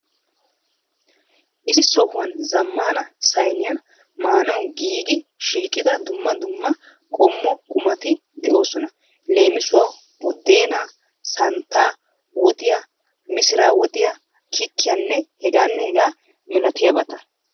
Issi sohuwan zammana sayniyan maanawu giigidi shiiqida dumma dumma qommo qumati de'oosona. Leem. Buddeenaa, santtaa, woxiyaa, missira woxiyaa kikkiyanne h.h malatiyabata.